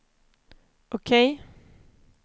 OK